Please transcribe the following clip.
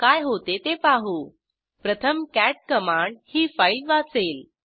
काय होते ते पाहू प्रथम कॅट कमांड ही फाईल वाचेल